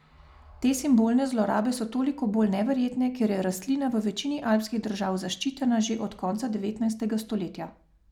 Te simbolne zlorabe so toliko bolj neverjetne, ker je rastlina v večini alpskih držav zaščitena že od konca devetnajstega stoletja.